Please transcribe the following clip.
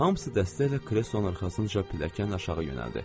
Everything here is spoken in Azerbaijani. Hamısı dəstə ilə kreson arxasınca pilləkən aşağı yönəldi.